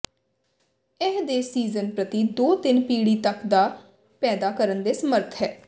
ਇਹ ਦੇ ਸੀਜ਼ਨ ਪ੍ਰਤੀ ਦੋ ਤਿੰਨ ਪੀੜ੍ਹੀ ਤੱਕ ਦਾ ਪੈਦਾ ਕਰਨ ਦੇ ਸਮਰੱਥ ਹੈ